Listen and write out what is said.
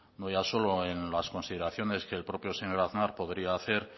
no ya solo en las consideraciones que el propio señor aznar podría hacer